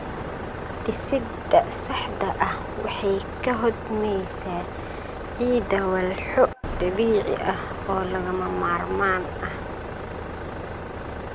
Dhisidda saxda ah waxay ka hodmaysaa ciidda walxo dabiici ah oo lagama maarmaan ah.